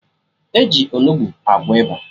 E ji Onugbu agwọ ịba